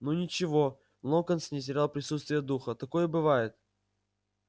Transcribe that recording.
ну ничего локонс не терял присутствия духа такое бывает